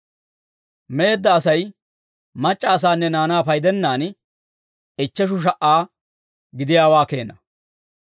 Meedda Asay mac'c'a asaanne naanaa paydennaan, ichcheshu sha"aa gidiyaawaa keena.